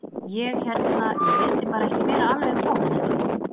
Ég hérna. ég vildi bara ekki vera alveg ofan í þeim.